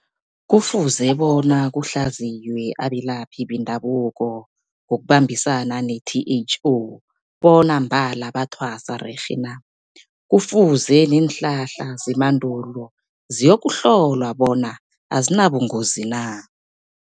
Kufuze bona kuhlaziywe abelaphi bendabuko ngokubambisana ne-T_H_O, bona mbala bathwasa rerhe na. Kufuze neenhlahla zemandulo ziyokuhlolwa bona azinabungozi na.